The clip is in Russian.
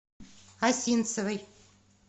осинцевой